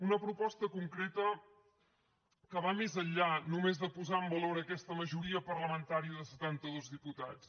una proposta concreta que va més enllà només de posar en valor aquesta majoria parlamentària de setanta dos diputats